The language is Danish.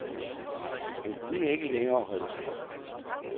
Han kunne ikke længere holde sig oprejst.